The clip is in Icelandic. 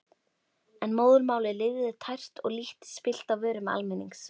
En móðurmálið lifði tært og lítt spillt á vörum almennings.